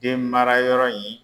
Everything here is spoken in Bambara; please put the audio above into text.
Den mara yɔrɔ in